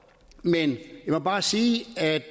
men jeg må bare sige at